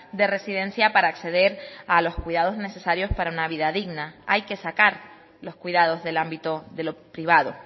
de residencia para acceder a los cuidados necesarios para una vida digna hay que sacar los cuidados del ámbito de lo privado